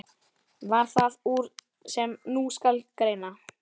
Varð það úr, sem nú skal greina.